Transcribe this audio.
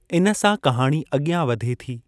इन सां, कहाणी अॻियां वधे थी।